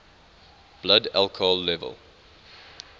blood alcohol level